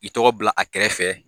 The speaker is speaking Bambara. I tɔgɔ bila a kɛrɛfɛ